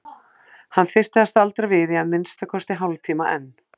Hann þyrfti að staldra við í að minnsta kosti hálftíma enn.